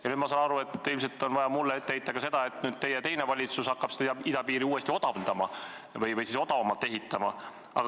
Ja nüüd ma saan aru, et ilmselt on vaja mulle ette heita ka seda, et nüüd teie teine valitsus hakkab idapiiri uuesti odavdama ehk seda odavamalt ehitama.